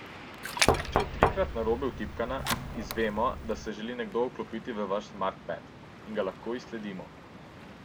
Če je trikrat narobe vtipkana, izvemo, da se želi nekdo vklopiti v vaš Smart Ped, in lahko ga izsledimo.